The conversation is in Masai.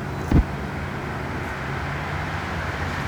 Eitu etoi nangan lainien pooki